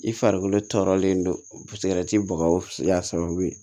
I farikolo tɔɔrɔlen don bagaw y'a sababu ye